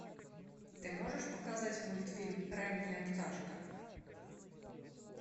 ты можешь показать мультфильм ранняя пташка